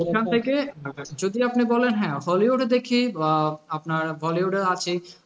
সেখান থেকে হ্যাঁ যদি আপনি বলেন হ্যাঁ, hollywood এ দেখি বা আপনার bollywood এর আছে।